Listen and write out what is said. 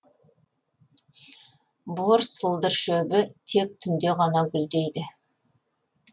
бор сылдыршөбі тек түнде ғана гүлдейді